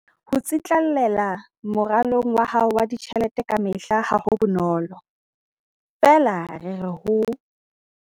Ho tsitlallela moralong wa hao wa ditjhelete kamehla ha ho bonolo, feela rera ho.